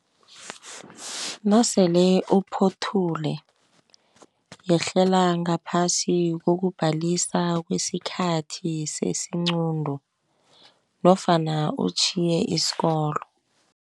Nasele uphothule yehlela ngaphasi kokubhalisa kwesikhathi sesinqundu nofana utjhiye isikolo.